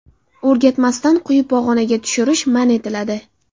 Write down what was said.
O‘rgatmasdan quyi pog‘onaga tushirish man etiladi.